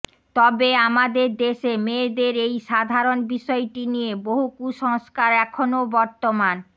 তবে আমাদের দেশে মেয়েদের এই সাধারণ বিষয়টি নিয়ে বহু কুসংষ্কার এখনও বর্তমান